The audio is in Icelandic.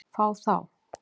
Fá þá?